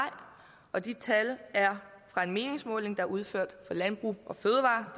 og de tal er fra en meningsmåling der er udført for landbrug fødevarer